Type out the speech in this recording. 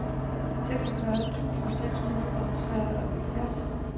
seksogfyrre tusind seks hundrede og treoghalvfjerds